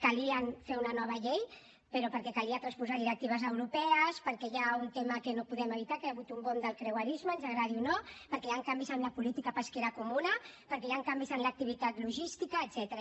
calia fer una nova llei però perquè calia transposar directives europees perquè hi ha un tema que no podem evitar que hi ha hagut un boom del creuerisme ens agradi o no perquè hi han canvis en la política pesquera comuna perquè hi han canvis en l’activitat logística etcètera